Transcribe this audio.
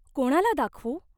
कोणाला दाखवू?